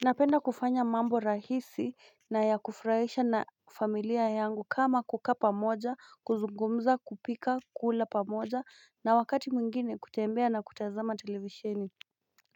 Napenda kufanya mambo rahisi na ya kufurahisha na familia yangu kama kukaa pamoja kuzungumza kupika kula pamoja na wakati mwingine kutembea na kutazama televisheni